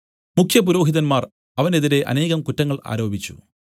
മുഖ്യപുരോഹിതന്മാർ അവനെതിരെ അനേകം കുറ്റങ്ങൾ ആരോപിച്ചു